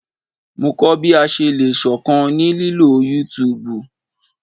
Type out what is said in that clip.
Mo kọ bi a ṣe le ṣọkan ni lilo YouTube